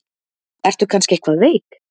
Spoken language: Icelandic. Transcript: Ertu kannski eitthvað veik?